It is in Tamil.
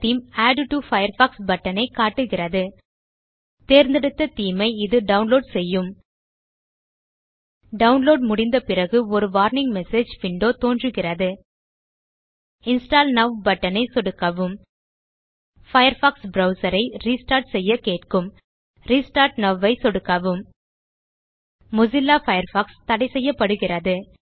ஆட் டோ பயர்ஃபாக்ஸ் பட்டன் ஐ காட்டுகிறது தேர்ந்தெடுத்த தேமே ஐ இது டவுன்லோட் செய்யும் டவுன்லோட் முடிந்த பிறகு ஒரு வார்னிங் மெசேஜ் விண்டோ தோன்றுகிறது இன்ஸ்டால் நோவ் பட்டன் ஐ சொடுக்கவும் பயர்ஃபாக்ஸ் ப்ரவ்சர் ஐ ரெஸ்டார்ட் செய்ய கேட்கும் ரெஸ்டார்ட் நோவ் ஐ சொடுக்கவும் மொசில்லா பயர்ஃபாக்ஸ் தடைசெய்யப்படுகிறது